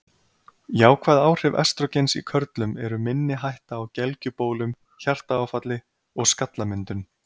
Jákvæð áhrif estrógens í körlum eru minni hætta á gelgjubólum, hjartaáfalli og skallamyndun.